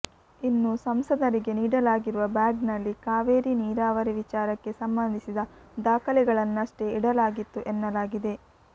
ಇನ್ನು ಸಂಸದರಿಗೆ ನೀಡಲಾಗಿರುವ ಬ್ಯಾಗ್ನಲ್ಲಿ ಕಾವೇರಿ ನೀರಾವರಿ ವಿಚಾರಕ್ಕೆ ಸಂಬಂಧಿಸಿದ ದಾಖಲೆಗಳನ್ನಷ್ಟೆ ಇಡಲಾಗಿತ್ತು ಎನ್ನಲಾಗಿದೆ